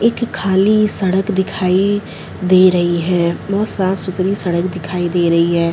एक खाली सड़क दिखाई दे रही है बहुत साफ़ सूत्री सड़क दिखाई दे रही है।